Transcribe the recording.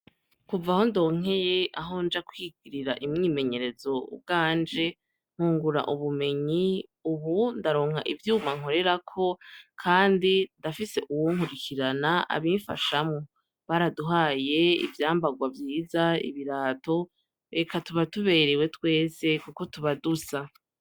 Kuva aho ndonkeye ahonja kwigirira imyimenyerezo ubwanje nkungura ubumenyi ubu ndaronka ivyuma nkorerako kandi ndafise uwunkurikirana abimfashamwo, baraduhaye ivyambagwa vyiza ibirato eka tuba tuberewe twese kuko tuba dusa.